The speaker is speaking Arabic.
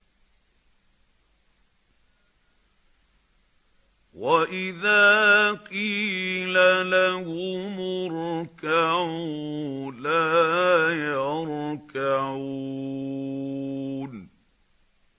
وَإِذَا قِيلَ لَهُمُ ارْكَعُوا لَا يَرْكَعُونَ